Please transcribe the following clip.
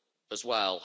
as well.